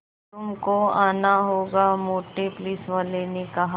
तुमको आना होगा मोटे पुलिसवाले ने कहा